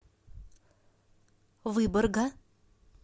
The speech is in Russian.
выборга